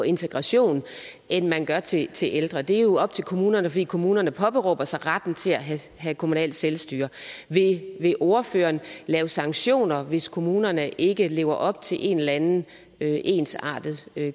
integration end man gør til til ældre det er jo op til kommunerne fordi kommunerne påberåber sig retten til at have kommunalt selvstyre vil ordføreren lave sanktioner hvis kommunerne ikke lever op til en eller anden ensartet